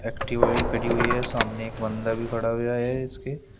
Activa भी खड़ी हुई है सामने एक बंदा भी खड़ा हुआ है इसके।